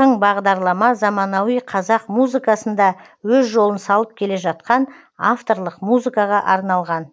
тың бағдарлама заманауи қазақ музыкасында өз жолын салып келе жатқан авторлық музыкаға арналған